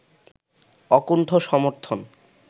অকুণ্ঠ সমর্থন